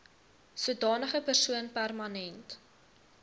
sodanige persoon permanent